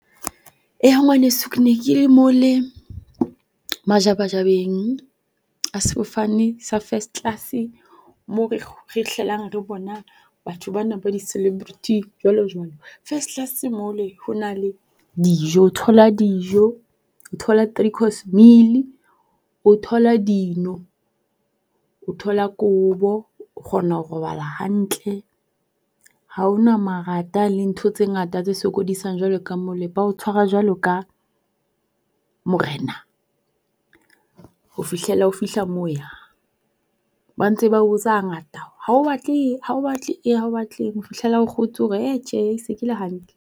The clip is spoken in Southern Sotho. Eya ngwaneso ke ne ke majabajabeng a sefofane sa first class mo re hlelang re bona batho ba na ba di-celebrity jwalo jwalo. First class mole ho na le dijo, o thola dijo, o thola three course meal, o thola dino, o thola kobo o kgona ho robala hantle. Ha ho na marata le ntho tse ngata tse sokodiang jwalo ka mo le. Ba o tshwara jwalo ka morena ho fihlela o fihla mo o yang. Ba ntse ba o botsa hangata ha o batle eng, ha o batla eng, ha o batle eng. Ho fihlela o kgotshe o re ha-eh tjhe ke se ke le hantle.